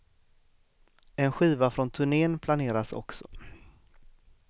En skiva från turnén planeras också.